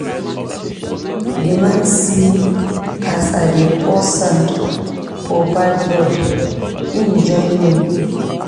Di man see as I dey pour sand for bad road, im join me.